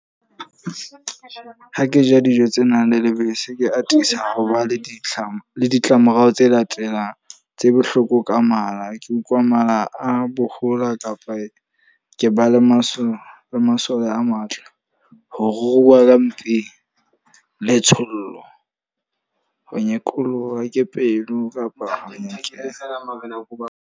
Ha ke ja dijo tse nang le lebese, ke atisa ho ba le ditlamo le ditlamorao tse latelang. Tse bohloko ka mala, ke utlwa mala a bohola kapa ke ba le masoba masole a matla. Ho ruruha ka mpeng, le letshollo, ho nyekoloha ke pelo kapa ho nyekelwa.